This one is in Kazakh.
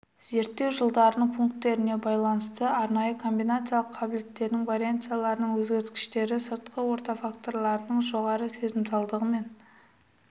зерттеу жылдарының пунктеріне байланысты арнайы комбинациялық қабілеттерінің вариансияларының өзгергіштіктері сыртқы орта факторларының жоғары сезімталдығымен